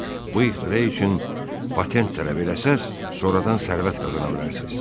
Bu ixtira üçün patent tələb eləsəz, sonradan sərvət qazana bilərsiz.”